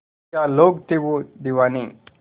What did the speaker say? क्या लोग थे वो दीवाने